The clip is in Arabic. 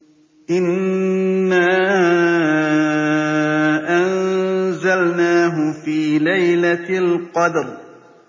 إِنَّا أَنزَلْنَاهُ فِي لَيْلَةِ الْقَدْرِ